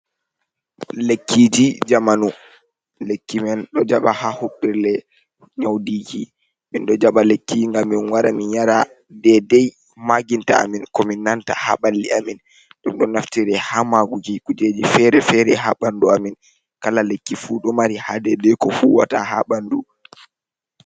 Lekkiji jamaanu, lekki men ɗo jaɓa ha huɓɓirle nyaudiki, min ɗo jaɓa lekkiji ngam min wara min yara dedei maginta amin ko min nanta ha ɓalli amin. Ɗum ɗo naftire ha maagu kujeji fere-fere ha ɓandu amin kala lekki fu ɗo mari ha dedei ko fuwata ha ɓandu.